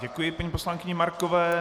Děkuji paní poslankyni Markové.